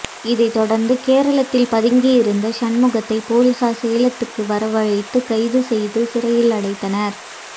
இதைத்தொடா்ந்து கேரளத்தில் பதுங்கியிருந்த சண்முகத்தை போலீஸாா் சேலத்துக்கு வரவழைத்து கைது செய்து சிறையில் அடைத்தனா்